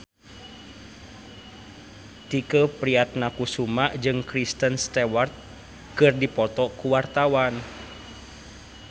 Tike Priatnakusuma jeung Kristen Stewart keur dipoto ku wartawan